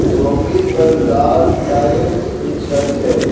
झोपरी पर लाल टाइल्स की छत है।